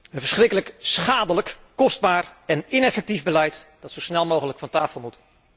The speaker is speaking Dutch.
Een verschrikkelijk, schadelijk, kostbaar en ineffectief beleid dat zo snel mogelijk van tafel moet.